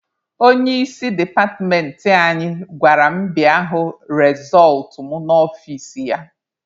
Onye isi departmentị anyị gwara m bịa hụ rezọltụ m n'ọfici ya.